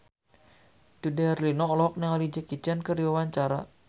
Dude Herlino olohok ningali Jackie Chan keur diwawancara